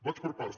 vaig per parts